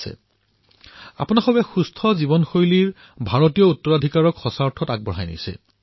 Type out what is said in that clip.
আপোনালোক সকলোৱে সুস্থ জীৱনশৈলীৰ ভাৰতীয় ঐতিহ্যক এক প্ৰকৃত উত্তৰাধিকাৰীৰ ৰূপত আগুৱাই লৈ গৈ আছে